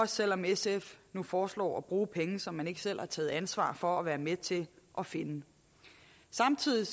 selv om sf nu foreslår at bruge penge som man ikke selv har taget ansvar for at være med til at finde samtidig